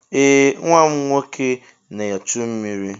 Ee nwa m nwoke na-echu mmiri.